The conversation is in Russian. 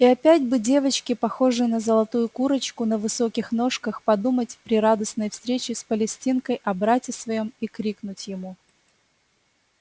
и опять бы девочке похожей на золотую курочку на высоких ножках подумать при радостной встрече с палестинкой о брате своём и крикнуть ему